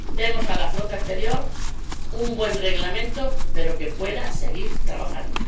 Demos a la flota exterior un buen Reglamento, pero que pueda seguir trabajando.